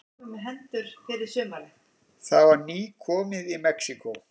Það var nýkomið í Mexíkó.